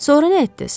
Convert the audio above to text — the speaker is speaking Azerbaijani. Sonra nə etdiniz?